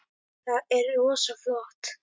Það er rosa flott.